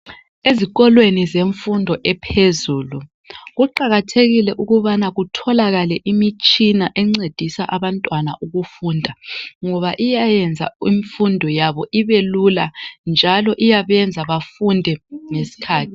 Ezikolweni zemfundo ephezulu kuqakathekile ukubana kutholakale imitshina eyiyo encedisa abantwana ukufunda ngoba iyayenza imfundo yabo ibelula njalo iyabenza bafunde ngesikhathi.